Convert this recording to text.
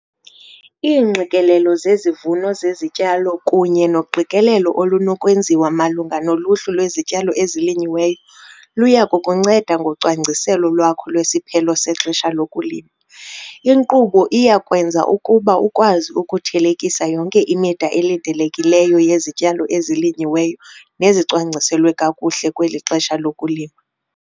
Iingqikelelo zezivuno zezityalo kunye noqikelelo olunokwenziwa malunga noluhlu lwezityalo ezilinyiweyo luya kukunceda ngocwangciselo lwakho lwesiphelo sexesha lokulima. Inkqubo iya kwenza ukuba ukwazi ukuthelekisa yonke imida elindelekileyo yezityalo ezilinyiweyo nezicwangciselwe kakuhle kweli xesha lokulima.